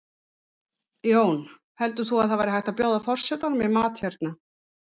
Jón: Heldur þú að það væri hægt að bjóða forsetanum í mat hérna?